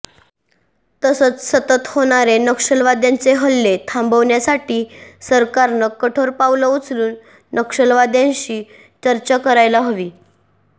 तसंच सतत होणारे नक्षलवाद्यांचे हल्ले थांबवण्यासाठी सरकारनं कठोर पावलं उचलून नक्षलवाद्यांशी चर्चा करायला हवी